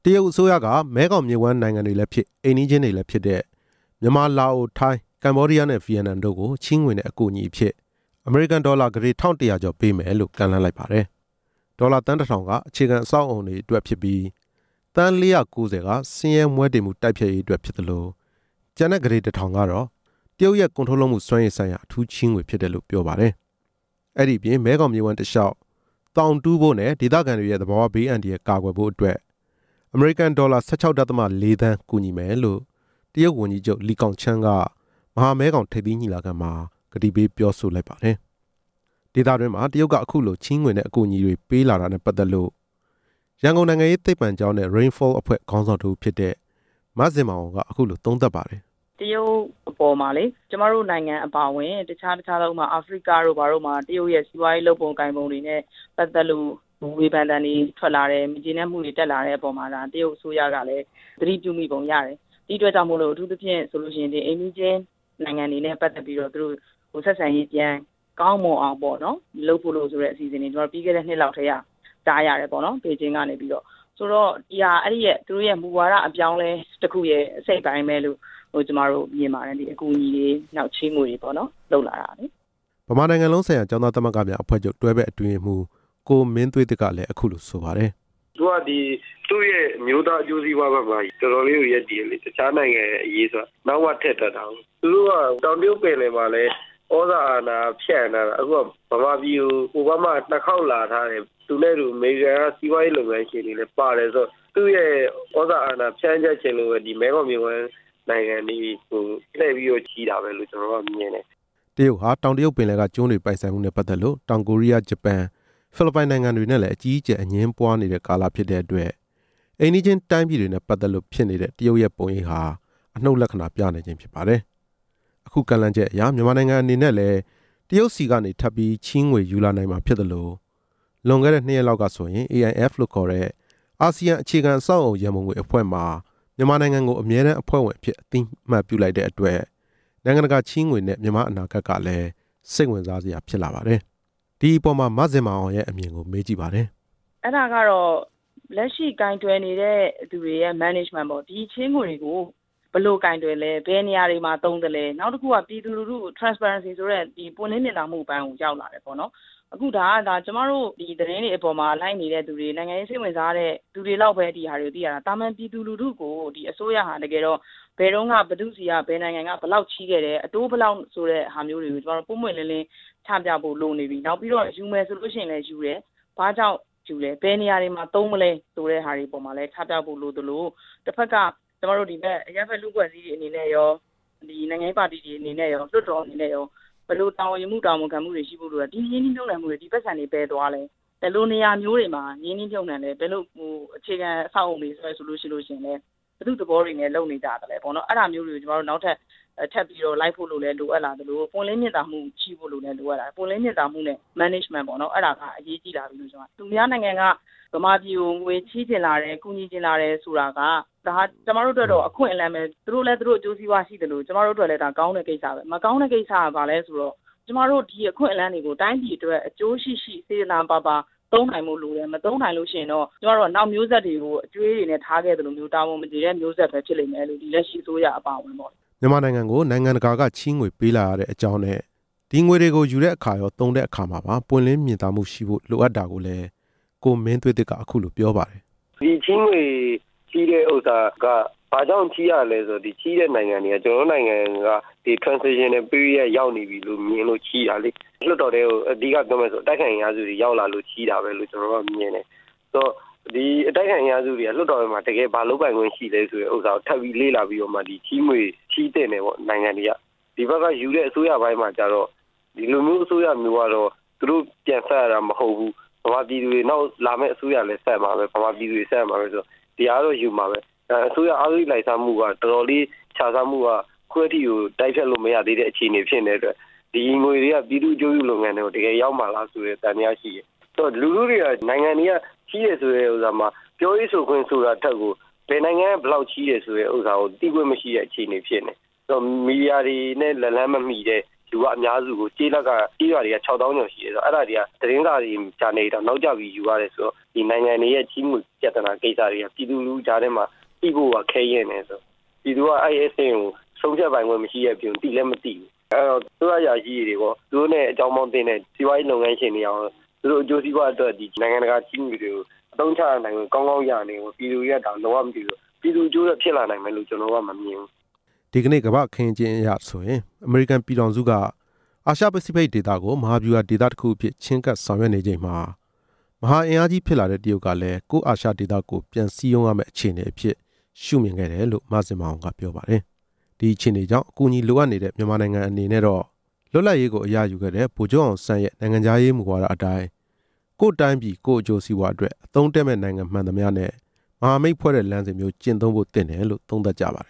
တရုတ်အစိုးရက မဲခေါင်မြစ်ဝှမ်းနိုင်ငံတွေလဲဖြစ် အိမ်နီးချင်းတွေလဲဖြစ်တဲ့ မြန်မာ၊ လာအို၊ ထိုင်း၊ ကမ္ဘောဒီးယားနဲ့ ဗီယက်နမ်တို့ကို ချေးငွေနဲ့ အကူအညီဖြစ် အမေရိကန်ဒေါ်လာ ကုဋေတစ်ထောင်ကျော်ပေးမယ်လို့ ကမ်းလှမ်းလိုက်ပါတယ်။ ဒေါ်လာ သန်းတစ်ထောင်က အခြေခံအဆောက်အအုံတွေအတွက် ဖြစ်ပြီး၊ သန်း ၄၉၀ က ဆင်းရဲမွဲတေမှုတိုက်ဖျက်ရေးအတွက် ဖြစ်သလိုကျန်တဲ့ကုဋေတစ်ထောင်ကတော့ တရုတ်ရဲ့ကုန်ထုတ်လုပ်မှုစွမ်းရည်ဆိုင်ရာ အထူးချေးငွေဖြစ်တယ်လို့ပြောပါတယ်။ အဲ့ဒီအပြင်မဲခေါင်မြစ်ဝှမ်းတစ်လျှောက် သောင်တူးဖို့နဲ့ ဒေသခံတွေရဲ့သဘာဝ ဘေးအန္တရာယ်ကာကွယ်ဖို့အတွက် အမေရိကန်ဒေါ်လာ ၁၆.၄ သန်းကူညီမယ်လို့ တရုတ်ဝန်ကြီးချုပ် လီဂေါင်ချန်းက မဟာမဲခေါင်ထိပ်သီးညီလာခံမှာ ဂတိပေးပြောဆို လိုက်ပါတယ်။ ဒေသတွင်းမှာ တရုတ်ကချေးငွေနဲ့ အကူအညီတွေပေးလာတာနဲ့ ပတ်သက်လို့ ရန်ကုန်နိုင်ငံရေးသိပ္ပံကျောင်းနဲ့ ရိန်းဖောအဖွဲ့ခေါင်းဆောင်တစ်ဦးဖြစ်တဲ့ မဇင်မာအောင် က အခုလိုသုံးသပ်ပါတယ်။ "တရုတ်အပေါ်မှာလေ ကျမတို့နိုင်ငံအပါအဝင် အခြားခြားသော ဥပမာ အာဖရိက တို့ဘာတို့မှာ တရုတ်ရဲ့စီးပွားရေးလုပ်ပုံကိုင်ပုံတွေနဲ့ ပတ်သက်လို့ ဝေဖန် သံတွေထွက်လာတယ်၊ မကျေနပ်မှုတွေတက်လာတဲ့ အပေါ်မှာတရုတ်အစိုးရကလဲ သတိပြုမိပုံရတယ်၊ ဒီအတွက်ကြောင့်မို့လို့ အထူးသဖြင့် အိမ်နီး ချင်းနိုင်ငံတွေနဲ့ ပတ်သက်လို့ ဆက်ဆံရေးကောင်းမွန်အောင်ဆိုပြီးတော့ ပြီးခဲ့တဲ့နှစ်လောက်ထဲက ကြားရတယ်ပေါ့နော်၊ ဆိုတော့ သူတို့ရဲ့မူဝါဒအပြောင်း အလဲ တစ်ခုရဲ့ အစိတ်အပိုင်းပဲလို့ ကျမတို့မြင်ပါတယ်၊ ဒီအကူအညီတွေ၊ ချေးငွေတွေပေါ့နော်" မြန်မာနိုင်ငံလုံးဆိုင်ရာကျောင်းသားသမဂ္ဂများအဖွဲ့ချုပ် တွဲဖက်အတွင်းရေးမှူး ကိုမင်းသွေးသစ် ကလဲအခုလိုဆိုပါတယ်။ "သူကဒီ သူရဲ့အမျိုးသားအကျိုးစီးပွားဖက်မှာ တော်တော်လေးကို ရပ်တည်တယ်လေ၊ တခြားနိုင်ငံရေးကို နောက်မှထည့်တွက်တာကို၊ သူကတောင်တရုတ်ပင်လယ်မှာလဲ သြဇာအာဏာဖြန့်ထားတာ အိုဘားမားကမြန်မာပြည်ကို ၂ ခေါက်လာထားတယ်၊ သူနဲ့အတူ အမေရိကန်ကစီးပွားရေး လုပ်ငန်းရှင်တွေလဲပါတယ်ဆိုတော့ သူရဲ့သြဇာအာဏာ ဖြန့်ကျက်ချင်လို့ပဲ ဒီမဲခေါင်မြစ်ဝှမ်းတစ်လျှောက်ကို အကူအညီပေးတာလို့ ကျနော်တော့ထင်တယ်" တရုတ်ဟာ တောင်တရုတ်ပင်လယ်က ကျွန်းတွေပိုင်ဆိုင်မှုနဲ့ ပတ်သက်လို့ တောင်ကိုရီးယား၊ ဂျပန်၊ ဖိလစ်ပိုင်နိုင်ငံတွေနဲ့လဲ အကြီးအကျယ် အငြင်းပွား နေတဲ့ကာလဖြစ်တဲ့အတွက် အိမ်နီးချင်းတိုင်းပြည်တွေနဲ့ ပတ်သက်လို့ဖြစ်နေတဲ့ တရုတ်ရဲ့ပုံရိပ်ဟာ အနုတ်လက္ခဏာပြနေပါတယ်။ အခုကမ်းလှမ်းချက်အရ မြန်မာနိုင်ငံအနေနဲ့လဲ တရုတ်ဆီကနေထပ်ပြီး ချေးငွေ ယူလာနိုင်မှာဖြစ်သလို လွန်ခဲ့တဲ့ ၂ ရက်က AIF လို့ခေါ်တဲ့ အာဆီယံအခြေခံ အဆောက်အအုံရန်ပုံငွေအဖွဲ့မှာ မြန်မာနိုင်ငံကို အမြဲတမ်းအဖွဲ့ဝင်အဖြစ် အသိအမှတ်ပြုလိုက်တဲ့အတွက် နိုင်ငံတကာချေးငွေနဲ့ မြန်မာ့အနာဂတ်ကလဲ စိတ်ဝင်စားစရာဖြစ်လာပါတယ်။ ဒီအပေါ်မှာ မဇင်မာအောင်ရဲ့အမြင်ကို မေး ကြည့်ပါတယ်။ "အဲ့ဒါကတော့ လက်ရှိကိုင်တွယ်နေတဲ့ စီမံခန့်ခွဲမှုပေါ့၊ ဒီချေးငွေကို ဘယ်လိုကိုင်တွယ်လဲ၊ ဘယ်နေရာတွေမှာ သုံးသလဲ၊ နောက်တစ်ခုက ပြည်သူလူထုကို ပွင့်လင်းမြင်သာတဲ့ အပိုင်းကိုရောက်လာတယ်ပေါ့နော်၊ အခုဒါက ကျမတို့သတင်းတွေ ကိုလိုက်နေတဲ့သူတွေ နိုင်ငံရေးစိတ်ဝင်စားတဲ့သူတွေလောက်ပဲ ဒါတွေကို သိရတာ၊ သာမာန်ပြည်သူလူထုကို အစိုးရဟာတကယ်တော့ ဘယ်တုန်းက ဘယ်သူ့ဆီက ဘယ်နိုင်ငံက ဘယ်လောက်ချေးခဲ့တယ်၊ အတိုးဘယ်လောက် ဆိုတဲ့ဟာကို ကျမတို့ ပွင့်ပွင့်လင်းလင်း ချပြဖို့လိုနေပြီ၊ နောက်ပြီးတော့ ယူမယ်ဆိုရင်လဲယူတယ်၊ ဘာဖြစ်လို့ယူတယ်၊ ဘယ်နေ ရာတွေမှာ သုံးမလဲဆိုတဲ့ဟာတွေအပေါ်မှာလဲ ချပြဖို့လိုသလို တစ်ဖက်က ကျမတို့လူ့အဖွဲ့အစည်းတွေအနေနဲ့ရော နိုင်ငံရေးပါတီတွေအနေနဲ့ရော ဘယ်လို တာဝန်ယူမှု၊ တာဝန်ခံမှုတွေရှိဖို့လိုတာ၊ ဒီရင်းနှီးမြုပ်နှံမှုတွေ၊ ဒီပိုက်ဆံတွေ ဘယ်သွားလဲ၊ ဘယ်လိုနေရာမျိုးတွေမှာ ရင်းနှီးမြုပ်နှံလဲ၊ အခြေခံ အဆောက် အအုံတွေဆိုရင်လဲ ဘယ်သူ့သဘောတွေနဲ့ လုပ်နေကြလဲ၊ အဲ့ဒါမျိုးတွေကို နောက်ထပ်လိုက်ဖို့လိုအပ်လာသလို ပွင့်လင်းမြင်သာမှုနဲ့ စီမံခန့်ခွဲမှုပေါ့၊ သူများနိုင်ငံက မြန်မာပြည်ကို ငွေချေးချင်လာတယ်၊ ကူညီချင်လာတယ်ဆိုတာက ကျမတို့အတွက် အခွင့်အလမ်းပဲ၊ သူတို့လဲသူတို့အကျိုးကိစ္စရှိသလို ကျမတို့အတွက်လဲ ကောင်းတဲ့ကိစ္စပဲ၊ မကောင်းတဲ့ကိစ္စက ဘာလဲဆိုတော့ ကျမတို့ ဒီအခွင့်အလမ်းတွေကို အကျိုးရှိရှိ စေတနာပါပါနဲ့ သုံးနိုင်ဖို့လိုတယ်၊ မသုံးနိုင်ရင်တော့ ကျမတို့က နောက်မျိုးဆက်တွေကို အကြွေးတွေနဲ့ထားခဲ့သလို၊ တာဝန်မကြေတဲ့ မျိုးဆက်တွေပဲဖြစ်လိမ့်မယ်လို့၊ ဒီလက်ရှိအစိုးရ အပါအဝင်ပေါ့" မြန်မာနိုင်ငံကို နိုင်ငံတကာကချေးငွေပေးလာရခြင်းအကြောင်းနဲ့ ဒီငွေတွေကိုယူတဲ့အခါမှာရော၊ သုံးတဲ့အခါမှာ ပွင့်လင်းမြင်သာမှုရှိဖို့လိုအပ်တာကိုလဲ ကိုမင်းသွေးသစ်က အခုလိုပြောပါတယ်။ "ဒီချေးငွေချေးတဲ့ဟာက ဘာကြောင့်ချေးရလဲဆိုတော့ ဒီချေးတဲ့နိုင်ငံက ကျနော်တို့နိုင်ငံကို မြင်လို့ချေးတာလေ၊ လွှတ်တော်ထဲကို အဓိကပြောမယ်ဆို အတိုက်အခံအင်အားစုတွေရောက်လာလို့ ချေးတာပဲလို့ ကျနော်တော့မြင်တယ်၊ အတိုက်အခံအင်အားစုတွေက လွှတ်တော်ထဲမှာ တစ်ကယ်ဘာ လုပ်ပိုင်ခွင့်ရှိလဲဆိုတာ ကို လေ့လာပြီးမှ ချေးငွေပေးသင့်တာပေါ့၊ နိုင်ငံတွေက ဒီဖက်ကယူတဲ့ အစိုးရပိုင်းမှာကျတော့ ဒီလိုအစိုးရမျိုးကတော့ သူတို့ပြန်ဆပ် ရတာမဟုတ်ဘူး၊ နောက်လာမယ့်အစိုးရပဲဆပ်ရမှာပဲ၊ မြန်မာပြည်သူတွေ ဆပ်ရမှာဆိုတော့၊ ဒီဟာကတော့ ယူမှာပဲ၊ အစိုးရအဂတိလိုက်စား မှု၊ခြစားမှု က အခုထိတိုက်ဖျက်လို့မရတဲ့ အခြေအနေဖြစ်နေတဲ့အတွက် ဒီငွေတွေက အကျိုးပြုလုပ်ငန်းတွေကို တကယ်ရောက်မှာလား ဆိုတာသံသယရှိတယ်၊ ဒီလိုမျိုးတွေက နိုင်ငံတွေကချေးတယ်ဆိုတဲ့ပေါ်မှာ၊ ပြောရေးဆိုခွင့်ရှိတယ်ဆိုတဲ့အပေါ်မှာ ဘယ်နိုင်ငံကဘယ်လောက်ချေးတယ်ဆိုတာက သိခွင့်မရှိတဲ့ အခြေအနေဖြစ်နေတယ်၊ မီဒီယာနဲ့ အလှမ်းဝေးတဲ့ လူကအများစုကို၊ ကျေးလက်က၊ကျေးရွာတွေက ၆ သောင်းကျော်ရှိနေတယ်၊ သတင်း စာတွေတောင်နောက်ကျမှ ယူရတာဆိုတော့ ဒီနိုင်ငံတွေရဲ့ချေးငွေတွေက သိဖို့ကခက်ခဲတယ်၊ ပြည်သူက ဆုံးဖြတ်ပိုင်ခွင့်မရှိတဲ့အပြင်မှာ သိလဲမသိဘူး၊ အစိုးရအရာရှိတွေကရော၊ သူတို့နဲ့ အကြောင်းသင့်နေတဲ့ စီးပွားရေးလုပ်ငန်းရှင်တွေကရော သူတို့အကျိုးစီးပွားအတွက် နိုင်ငံတကာချေးငွေတွေကို အသုံးချခွင့်ကောင်းကောင်းရနေတယ်၊ ပြည်သူတွေက ဘာမှမသိတော့ ပြည်သူအကျိုးစီးပွားအတွက် ဖြစ်လာမယ်လို့ကျနော်တော့မမြင်ဘူး " ဒီနေ့ကမ္ဘာအခင်းအကျင်းအရဆိုရင် အမေရိကန်ပြည်ထောင်စုက အာရှပစိဖိတ်ဒေသကို မဟာဗျူဟာဒေသတစ်ခုအဖြစ် ချဉ်းကပ်ဆောင်ရွက်နေချိန်မှာ မဟာအင်အားကြီး ဖြစ် လာတဲ့တရုတ်ကလဲ ကိုယ့်အာရှဒေသကိုပြန်စည်းရုံး ရမယ့်အခြေအနေအဖြစ်ရှုမြင်ခဲ့ တယ်လို့ မဇင်မာအောင်ကပြောပါတယ်၊ ဒီအခြေအနေကြောင့်အကူအညီလိုအပ်နေတဲ့ မြန်မာနိုင်ငံအတွက်တော့ လွတ်လပ်ရေးကို အရယူခဲ့တဲ့ ဗိုလ်ချုပ်အောင်ဆန်း ရဲ့ မူဝါဒ အတိုင်း ကိုယ့်တိုင်းပြည်အကျိုးစီးပွားအတွက် အသုံးတည့်မယ့်နိုင်ငံမှန်သမျှနဲ့ မဟာမိတ်ဖွဲ့တဲ့ လမ်းစဉ်မျိုးကျင့်သုံးသင့်တယ်လို့ သုံးသပ်ကျပါတယ